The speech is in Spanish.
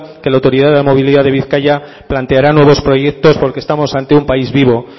que la autoridad de la movilidad de bizkaia planteará nuevos proyectos porque estamos ante un país vivo